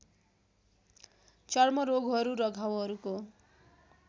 चर्म रोगहरू र घाउहरूको